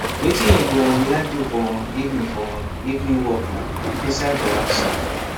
wetin you go um like do for um evening for um evening workna inside or outside